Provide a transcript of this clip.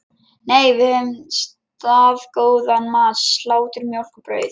Nei, við höfðum staðgóðan mat: Slátur, mjólk og brauð.